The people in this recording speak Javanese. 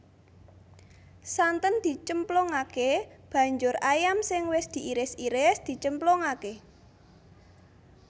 Santen dicemplungake banjur ayam sing wis diiris iris dicemplungake